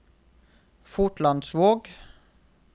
Fotlandsvåg